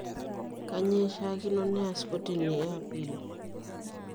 Kanyioo eishiaikino neas kotini e Appeal?